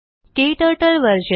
क्टर्टल version